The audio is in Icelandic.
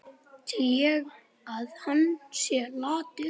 Tel ég að hann sé latur?